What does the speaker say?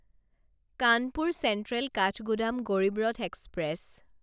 Kanpur central Kathgodam Garib Rath express